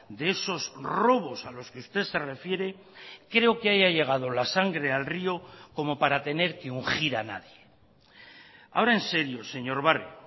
de esos robos a los que usted se refiere creo que haya llegado la sangre al río como para tener que ungir a nadie ahora en serio señor barrio